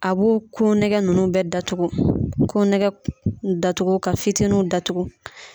A b'o ko nɛgɛ nunnu bɛ datugu, ko nɛgɛ datugu ka fitiniw datugu.